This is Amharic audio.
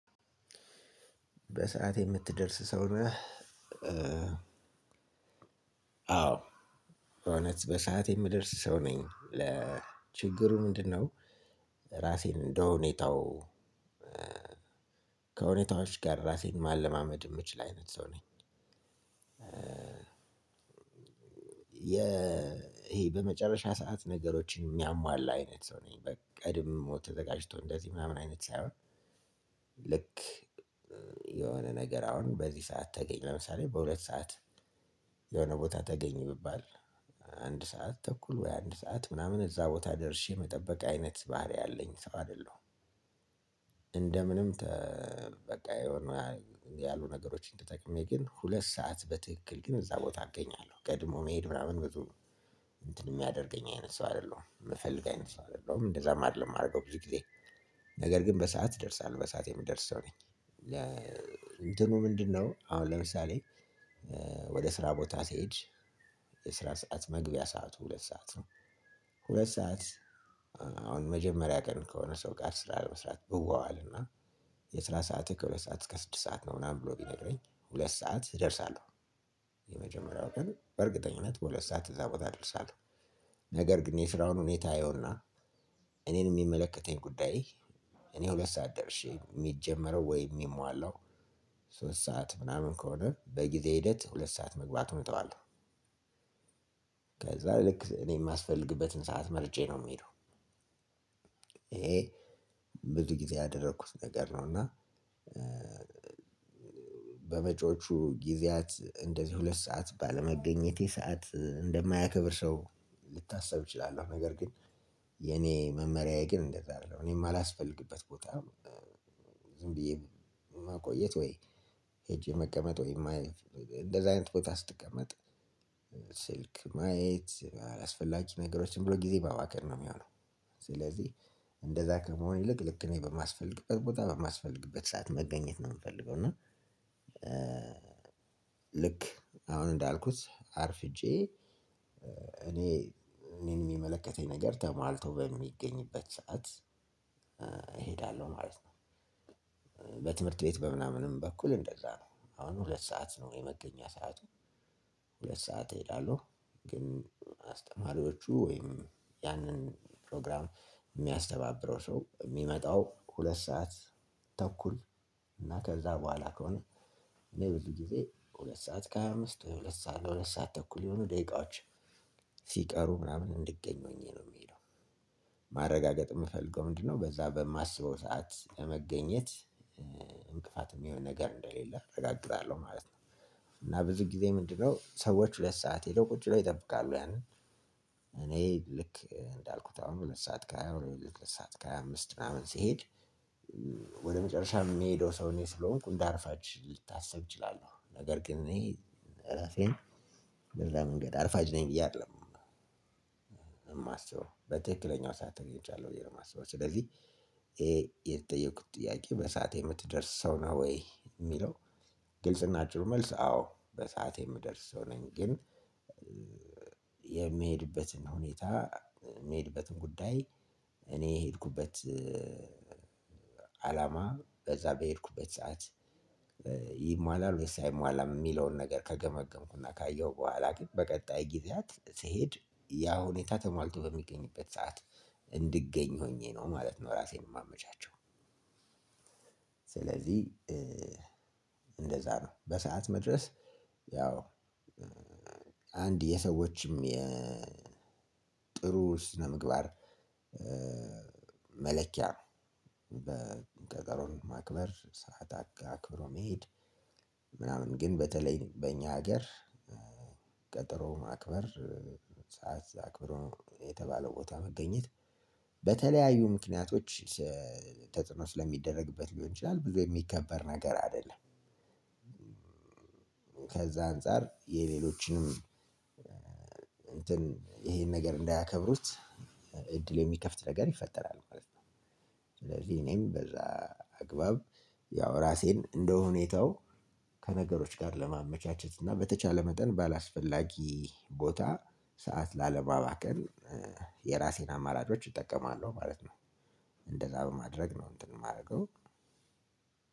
በሰአት የምትደርስ ሰው ነህ አዎ እውነት በሰአት የምደርስ ሰው ነኝ ለችግሩ ምንድነው? ራሴን እንደሁኔታው ከሁኔታዎች ጋር ራሴን ማለማመድ የምችል አይነት ሰው ነኝ። ይሄ በመጨረሻ ሰዓት ነገሮችን የሚያሟላ አይነት ሰው ነኝ በቃ ቀድሞ ተዘጋጅቶ እንደዚህ ምናምን አይነት ሳይሆን ልክ የሆነ ነገር አሁን በዚህ ሰዓት ተገኝ ለምሳሌ በሁለት ሰዓት የሆነ ቦታ ተገኝ ቢባል አንድ ሰዓት ተኩል ወይ አንድ ሰዓት ምናምን እዛ ቦታ ደርሼ መጠበቅ አይነት ባህሪ ያለኝ ሰው አይደለሁም። እንደ ምንም በቃ የሆኑ ያሉ ነገሮችን ተጠቅሜ ግን ሁለት ሰዓት በትክክል ግን እዛ ቦታ አገኛለሁ ቀድሞ መሄድ ምናምን ብዙ እንትን የሚያደርገኝ አይነት ሰው አይደለሁም የምፈልግ አይነት ሰው አይደለሁም እንደዛም አይደለም የማደርገው ብዙ ጊዜ ነገር ግን በሰአት እደርሳለው። በሰአቴ የምደርሰው ነኝ። እንትኑ ምንድነው? አሁን ለምሳሌ ወደ ስራ ቦታ ሲሄድ የስራ ሰዓት መግቢያ ሰዓቱ ሁለት ሰዓት ነው። ሁለት ሰዓት አሁን መጀመሪያ ቀን ከሆነ ሰው ጋር ስራ ለመስራት ብዋዋልና የስራ ሰዓት ከሁለት ሰዓት እስከ ስድስት ሰዓት ነው ምናምን ብሎ ቢነገረኝ ሁለት ሰዓት እደርሳለሁ። የመጀመርያው ቀን በእርግጠኝነት በሁለት ሰዓት እዛ ቦታ ደርሳለው። ነገር ግን የስራውን ሁኔታ አየዉና እኔን የሚመለከተኝ ጉዳይ እኔ ሁለት ሰዓት ደርሼ የሚጀመረው ወይ የሚሟላው ሶስት ሰዓት ምናምን ከሆነ በጊዜ ሂደት ሁለት ሰዓት መግባቱን እተዋለሁ ልክ እኔ የማስፈልግበትን ሰዓት መርጬ ነው የምሄደው። ይሄ ብዙ ጊዜ ያደረኩት ነገር ነው እና በመጪዎቹ ጊዜያት እንደዚህ ሁለት ሰዓት ባለመገኘቴ ሰዓት እንደማያከብር ሰው ልታሰብ እችላለሁ። ነገር ግን የኔ መመሪያዬ ግን እንደዛ አይደለም እኔም የማላስፈልግበት ቦታ ዝም ብዬ ማቆየት ወይ ሄጄ መቀመጥ ወይ እንደዚህ አይነት ቦታ ስትቀመጥ ስልክ ማየት አላስፈላጊ ነገሮችን ብሎ ጊዜ ማባከን ነው የሚሆነው። ስለዚህ እንደዛ ከመሆን ይልቅ ልክ እኔ በማስፈልግበት ቦታ በማስፈልግበት ሰዓት መገኘት ነው የምፈልገው እና። ልክ አሁን እንዳልኩት አርፍጄ እኔ እኔን የሚመለከተኝ ነገር ተሟልተው በሚገኝበት ሰዓት እሄዳለሁ ማለት ነው። በትምህርት ቤት በምናምንም በኩል እንደዛ ነው አሁን ሁለት ሰዓት ነው የመገኛ ሰዓቱ ሁለት ሰዓት እሄዳለሁ ግን አስተማሪዎቹ ወይም ያንን ፕሮግራም የሚያስተባብረው ሰው የሚመጣው ሁለት ሰዓት ተኩል እና ከዛ በኋላ ከሆነ ብዙ ጊዜ ሁለት ሰዓት ከሃያ አምስት ወይ ሁለት ሰዓት ለሁለት ሰዓት ተኩል የሆኑ ደቂቃዎች ሲቀሩ ምናምን እንድገኝ ሆኜ ነው የምሄደው። ማረጋገጥ የምፈልገው ምንድነው? በዛ በማስበው ሰዓት ለመገኘት እንቅፋትም የሆነ ነገር እንደሌለ እረጋግጣለሁ ማለት ነው። እና ብዙ ጊዜ ምንድነው ሰዎች ሁለት ሰዓት ሄደው ቁጭ ብለው ይጠብቃሉ ያንን። እኔ ልክ እንዳልኩት አሁን ሁለት ሰዓት ከሃያ አምስት ሰዓት ከሃያ አምስት ምናምን ስሄድ ወደ መጨረሻ የሚሄደው ሰው እኔ ስለሆንኩ እንድ አርፋጅ ልታስብ እችላለሁ። ነገር ግን እኔ ራሴን በዛ መንገድ አርፋጅ ነኝ እያለም እማስተው በትክክለኛው ሰዓት ተገኝቻለሁ ብዬ ነው የማስበው ስለዚህ። የተጠየኩት ጥያቄ በሰአት የምትደርስ ሰው ነው ወይ የሚለው? ግልጽ ናቸው መልስ አዎ በሰአት የምደርስ ሰው ነኝ። ግን የሚሄድበትን ሁኔታ የሚሄድበትን ጉዳይ እኔ የሄድኩበት አላማ በዛ በሄድኩበት ሰዓት ይሟላል ወይ አይሟላም የሚለውን ነገር ከገመገምኩና ካየሁ በኋላ ግን በቀጣይ ጊዜያት ስሄድ ያ ሁኔታ ተሟልቶ በሚገኝበት ሰዓት እንድገኝ ሆኜ ነው ማለት ነው ራሴን የማመቻቸው። ስለዚህ እንደዛ ነው በሰአት መድረስ ያው አንድ የሰዎችም የጥሩ ስነምግባር መለኪያ በቀጠሮን ማክበር ሰዓት አክብሮ መሄድ ምናምን ግን በተለይ በእኛ ሀገር ቀጠሮ ማክበር ሰዓት አክብሮ የተባለው ቦታ መገኘት በተለያዩ ምክንያቶች ተጽኖ ስለሚደረግበት ሊሆን ይችላል ብዙ የሚከበር ነገር አይደለም። አንፃር የሌሎችንም እንትን ይሄን ነገር እንዳያከብሩት እድል የሚከፍት ነገር ይፈጠራል ማለት ነው። ስለዚህ እኔም በዛ አግባብ ያው ራሴን እንደሁኔታው ከነገሮች ጋር ለማመቻቸት እና በተቻለ መጠን ባላስፈላጊ ቦታ ሰዓት ላለማባከን የራሴን አማራጮች እጠቀማለሁ ማለት ነው። እንደዛ በማድረግ ነው እንትን የማደርገው